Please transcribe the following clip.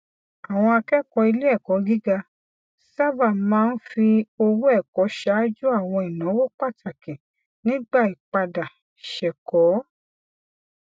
àwọn akẹkọọ iléẹkọ gíga sábà máa ń fi owó ẹkọ ṣáájú àwọn ináwó pàtàkì nígbà ìpadà sẹkọọ